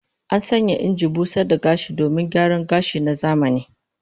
An sanya injin busar da gashi domin gyaran gashi na zamani